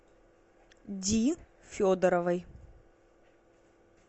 ди федоровой